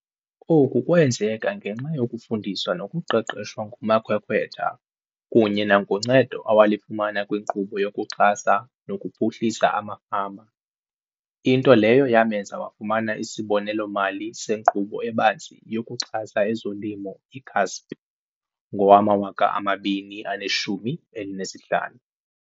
Oku kwenzeka ngenxa yokufundiswa nokuqeqeshwa ngumakhwekhwetha kunye nangoncedo awalifumana kwiNkqubo yokuXhasa nokuPhuhlisa amaFama, into leyo yamenza wafumana isibonelelo-mali seNkqubo eBanzi yokuXhasa ezoLimo, i-CASP, ngowama-2015.